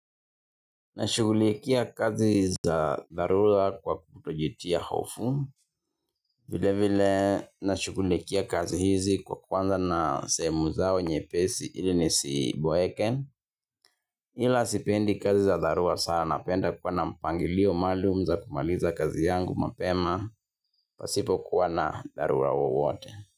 Nashughulikia kazi za dharura kwa kutojitia hofu, vile vile nashughulikia kazi hizi kwa kwanza na sehemu zao nyepesi ili nisiboeke, ila sipendi kazi za dharura sana, napenda kuwa na mpangilio maalumu za kumaliza kazi yangu mapema, pasipo kuwa na dharura yoyote.